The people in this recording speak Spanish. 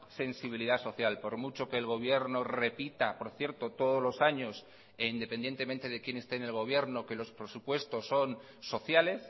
sensibilidad social por mucho que el gobierno repita por cierto todos los años e independientemente de quién esté en el gobierno que los presupuestos son sociales